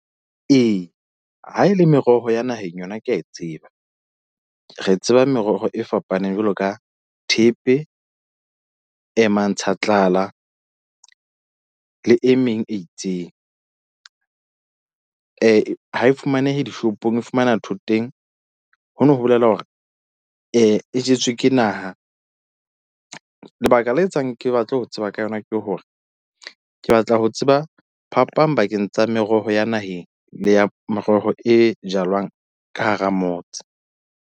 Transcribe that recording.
Ee, ha e le meroho ya naheng yona, ke a e tseba re tseba meroho e fapaneng jwalo ka thepe, mantshatlala le e meng e itseng ha e fumanehe dishopong. E fumana thoteng hono ho bolela hore e jetswe ke naha. Lebaka le etsang ke batla ho tseba ka yona ke hore ke batla ho tseba phapang bakeng tsa meroho ya naheng le ya meroho e jalwang ka hara motse.